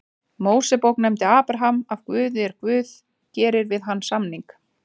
Mósebók nefndur Abraham af Guði er Guð gerir við hann samning: